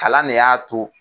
Kalan ne y'a to